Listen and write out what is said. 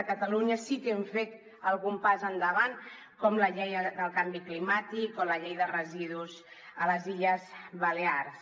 a catalunya sí que hem fet algun pas endavant com la llei del canvi climàtic o la llei de residus a les illes balears